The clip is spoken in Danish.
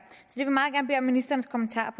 er ministerens kommentarer